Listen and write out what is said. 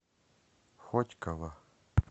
хотьково